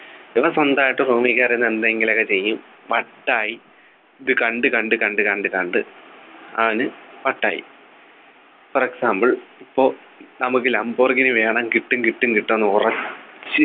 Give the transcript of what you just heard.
ഇവൻ സ്വന്തമായിട്ട് Room ൽ കയറി നിന്ന് എന്തെങ്കിലുമൊക്കെ ചെയ്യും വട്ടായി ഇത് കണ്ടു കണ്ടു കണ്ടു കണ്ടു കണ്ടു അവനു വട്ടായി For example ഇപ്പോ നമുക്ക് ലംബോർഗിനി വേണം കിട്ടും കിട്ടും കിട്ടും എന്ന് ഉറച്ച്